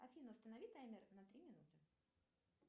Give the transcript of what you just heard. афина установи таймер на три минуты